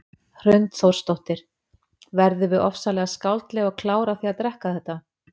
Hrund Þórsdóttir: Verðum við ofsalega skáldleg og klár af því að drekka þetta?